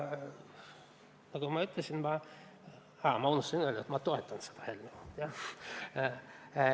Ma unustasin ennist öelda, et ma toetan seda eelnõu, jah.